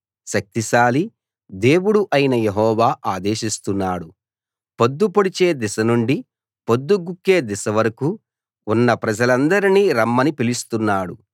శక్తిశాలి దేవుడు అయిన యెహోవా ఆదేశిస్తున్నాడు పొద్దు పొడిచే దిశ నుండి పొద్దు గుంకే దిశ వరకూ ఉన్న ప్రజలందర్నీ రమ్మని పిలుస్తున్నాడు